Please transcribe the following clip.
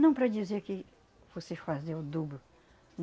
Não para dizer que fosse fazer o dobro.